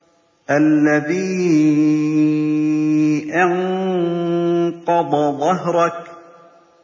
الَّذِي أَنقَضَ ظَهْرَكَ